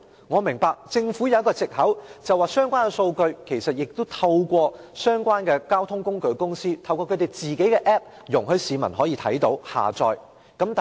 我明白政府有一個藉口，指相關數據已透過相關交通工具公司的 App， 讓市民瀏覽及下載。